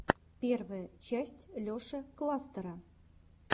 первая часть леши кластера